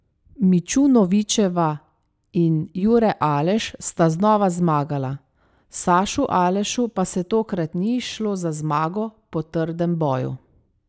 Mičunovičeva in Jure Aleš sta znova zmagala, Sašu Alešu pa se tokrat ni izšlo za zmago po trdem boju.